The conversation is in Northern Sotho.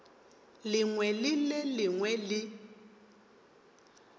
lengwe le le lengwe le